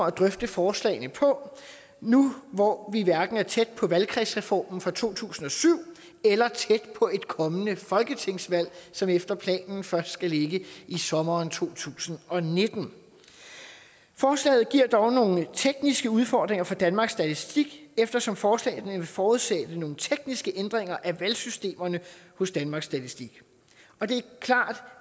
at drøfte forslagene på nu hvor vi hverken er tæt på valgkredsreformen fra to tusind og syv eller tæt på et kommende folketingsvalg som efter planen først skal ligge i sommeren to tusind og nitten forslaget giver dog nogle tekniske udfordringer for danmarks statistik eftersom forslagene vil forudsætte nogle tekniske ændringer af valgsystemerne hos danmarks statistik det er klart